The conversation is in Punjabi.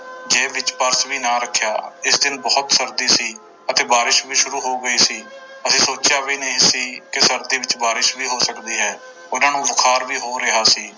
ਜੇਬ ਵਿੱਚ ਪਰਸ ਵੀ ਨਾ ਰੱਖਿਆ, ਇਸ ਦਿਨ ਬਹੁਤ ਸਰਦੀ ਸੀ ਅਤੇ ਬਾਰਿਸ਼ ਵੀ ਸ਼ੁਰੂ ਹੋ ਗਈ ਸੀ, ਅਸੀਂ ਸੋਚਿਆ ਵੀ ਨਹੀਂ ਸੀ ਕਿ ਸਰਦੀ ਵਿੱਚ ਬਾਰਿਸ਼ ਵੀ ਹੋ ਸਕਦੀ ਹੈ, ਉਹਨਾਂ ਨੂੰ ਬੁਖਾਰ ਵੀ ਹੋ ਰਿਹਾ ਸੀ।